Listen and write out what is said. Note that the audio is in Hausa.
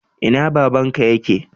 Ina babanka yake?